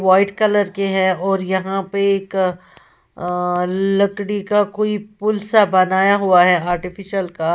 White colour के हैं और यहां पे एक अअ लकड़ी का कोई पुल सा बनाया हुआ है आर्टिफिशियल का।